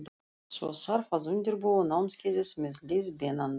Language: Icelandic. Svo þarf að undirbúa námskeiðið með leiðbeinandanum.